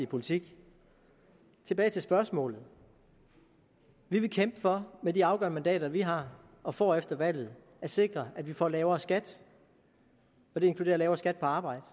politik tilbage til spørgsmålet vi vil kæmpe for med de afgørende mandater vi har og får efter valget at sikre at vi får lavere skat det inkluderer lavere skat på arbejde